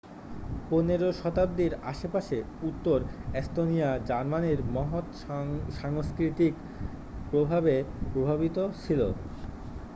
পনেরো শতাব্দীর আশেপাশে উত্তর এস্তোনিয়া জার্মানির মহৎ সাংস্কৃতিক প্রভাবে প্রভাবিত ছিল